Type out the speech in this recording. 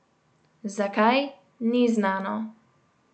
Zakaj, ni znano.